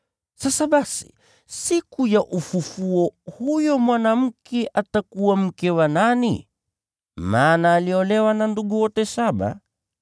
Sasa basi, siku ya ufufuo huyo mwanamke atakuwa mke wa nani, maana aliolewa na ndugu wote saba?”